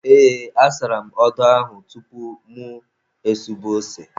Ee, asara m odo ahụ tupu mụ esube ose.